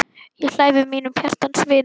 Ég hlæ við mínum hjartans vini.